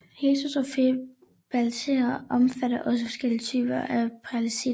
Heterotrofe bakterier omfatter også forskellige typer af parasitter